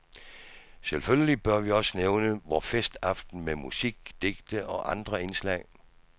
Selvfølgelig bør vi også nævne vor festaften med musik, digte og andre indslag.